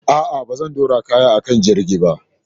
A'a, ba zan ɗora kayan a kan jirgin ba.